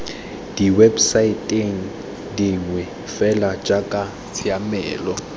diwebosaeteng dingwe fela jaaka tshiamelo